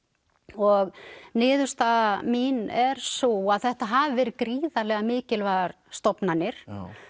og niðurstaða mín er sú að þetta hafi verið gríðarlega mikilvægar stofnanir